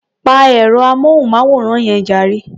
Pa ẹ̀rọ-amóhùnmáwòrán yẹn jàre.